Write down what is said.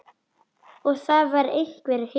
Og það var einhver hiti.